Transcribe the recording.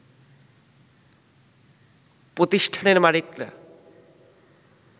প্রতিষ্ঠানের মালিকরা